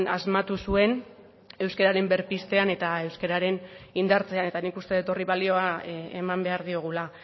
asmatu zuen euskararen berpiztean eta euskararen indartzean eta nik uste dut horri balioa eman behar diogula